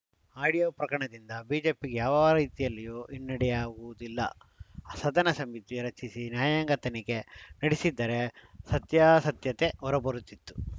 audio ಪ್ರಕರಣದಿಂದ ಬಿಜೆಪಿಗೆ ಯಾವ ರೀತಿಯಲ್ಲಿಯೂ ಹಿನ್ನಡೆಯಾಗುವುದಿಲ್ಲ ಸದನ ಸಮಿತಿ ರಚಿಸಿ ನ್ಯಾಯಾಂಗ ತನಿಖೆ ನಡೆಸಿದ್ದರೆ ಸತ್ಯಾಸತ್ಯತೆ ಹೊರಬರುತ್ತಿತ್ತು